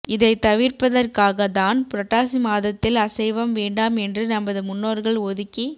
இதை தவிர்ப்பதற்காக தான் புரட்டாசி மாதத்தில் அசைவம் வேண்டாம் என்று நமது முன்னோர்கள் ஒதுக்கி